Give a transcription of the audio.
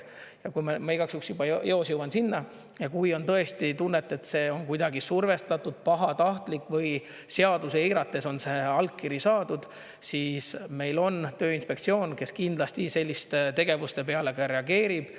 Ja ma igaks juhuks juba eos jõuan sinna: kui on tõesti tunne, et see on kuidagi survestatud, pahatahtlik või seadusi eirates on see allkiri saadud, siis meil on Tööinspektsioon, kes kindlasti selliste tegevuste peale reageerib.